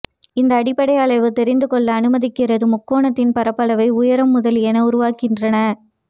இந்த அடிப்படை அளவு தெரிந்து கொள்ள அனுமதிக்கிறது முக்கோணத்தின் பரப்பளவை உயரம் முதலியன உருவாகின்றன